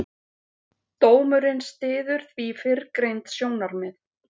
Dómurinn styður því fyrrgreind sjónarmið.